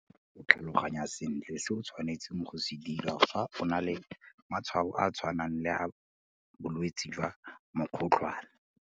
O tlhaloganya sentle se o tshwanetseng go se dira fa o na le matshwao a a tshwanang le a bolwetse jwa mokgotlhwane.